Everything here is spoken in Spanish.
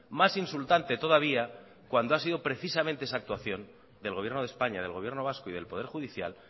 más insultante todavía cuando ha sido precisamente esa actuación del gobierno de españa del gobierno vasco y del poder judicial